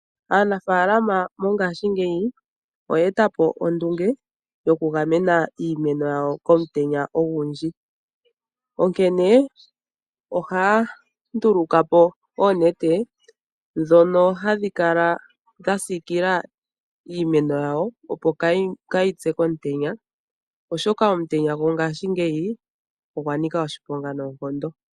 Aanafaalama mongashingeyi oyeeta po ondunge yokugamena iimeno yawo komutenya ogundji. Onkene ohaya nduluka po oonete ndhono hadhi kala dha siikila iimeno yawo opo kaayi pye komutenya. Oshoka omutenya gongaashingeyi ogwa nika oshiponga noonkondo.